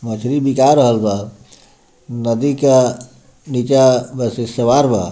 मछली बिका रहल बा नदी का निचा सवार बा।